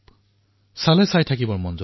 আপোনালোক আচৰিত হৈ পৰিব